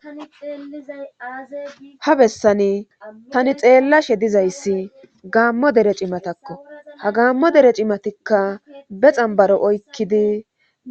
Tani xeizaha bessani tani xeellashe dizayssi gaammo dere cimatakko ha gaammo dere cimatikka be xambaro oykkidi